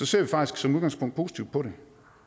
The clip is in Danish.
ser vi faktisk som udgangspunkt positivt på det